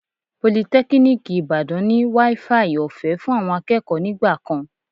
Politẹ́kíníìkì Ìbàdàn ní wááfaì ọ̀fẹ́ fún àwọn akẹ́kọ̀ọ́ nígbà kan